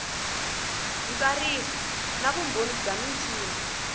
ntsariso na vumbhoni bya michini